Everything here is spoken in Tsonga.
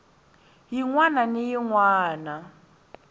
yin wana ni yin wana